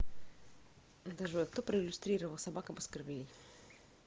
джой кто проиллюстрировал собака баскервилей